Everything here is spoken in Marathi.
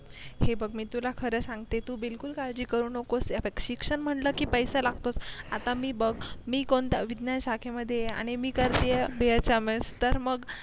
हे बघ मी तुला खरं सांगते तू बिलकुल काळजी करू नकोस आता शिक्षण म्हटलं की पैसा लागतो आता मि बघ मी विज्ञान शाखेमध्ये आहे आणि मि करते आहे bhms तर मग